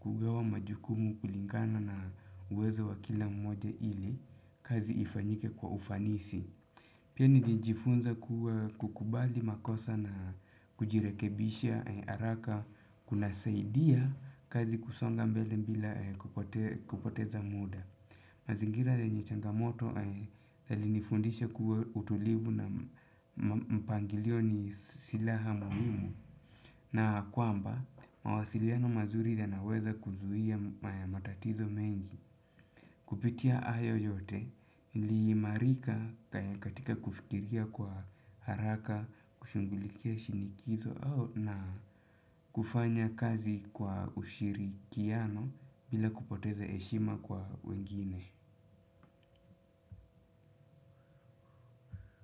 kugawa majukumu kulingana na uwezo wa kila mmoja ili kazi ifanyike kwa ufanisi. Pia nilijifunza kuwa kukubali makosa na kujirekebisha haraka kunasaidia kazi kusonga mbele bila kupoteza muda. Mazingira yenye changamoto yalinifundisha kuwa utulivu na mpangilio ni silaha muhimu. Na kwamba, mawasiliano mazuri yanaweza kuzuia matatizo mengi. Kupitia hayo yote, niliimarika katika kufikiria kwa haraka, kushughulikia shinikizo na kufanya kazi kwa ushirikiano bila kupoteza heshima kwa wengine.